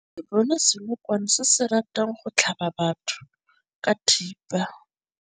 Re bone senokwane se se ratang go tlhaba batho ka thipa.